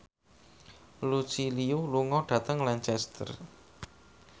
Lucy Liu lunga dhateng Lancaster